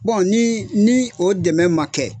ni ni o dɛmɛ man kɛ.